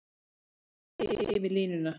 Annars eigin yfir línuna.